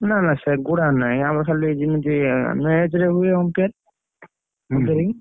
ନା ନା ସେଗୁଡା ନାହିଁ ଆମର ଖାଲି ଜିମିତି umpire ରେ ହୁଏ umpiring ।